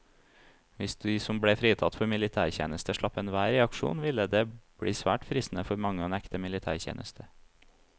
Hvis de som ble fritatt for militærtjeneste slapp enhver reaksjon, ville det bli svært fristende for mange å nekte militætjeneste.